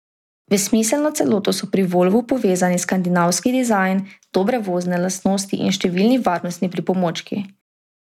V smiselno celoto so pri volvu povezani skandinavski dizajn, dobre vozne lastnosti in številni varnostni pripomočki.